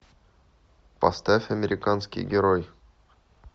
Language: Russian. поставь американский герой